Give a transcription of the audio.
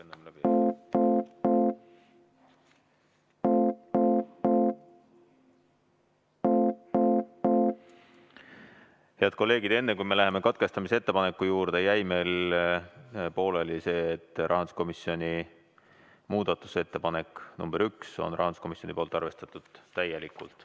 Head kolleegid, enne kui me läheme katkestamise ettepaneku juurde, jäi meil pooleli see, et rahanduskomisjoni muudatusettepanekut nr 1 on rahanduskomisjon arvestanud täielikult.